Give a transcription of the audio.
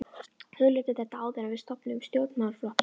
Hugleiddu þetta áður en við stofnum stjórnmálaflokkinn!